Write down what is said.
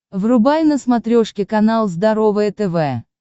врубай на смотрешке канал здоровое тв